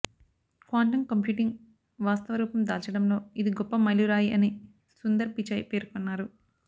quantum computing వాస్తవ రూపం దాల్చడంలో ఇది గొప్ప మైలురాయి అని సుందర్ పిచాయ్ పేర్కొన్నారు